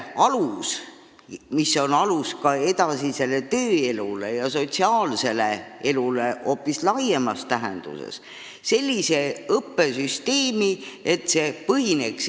Koolisüsteem on ju kõige alus – see on ka edasise tööelu ja hoopis laiemas tähenduses sotsiaalse elu alus.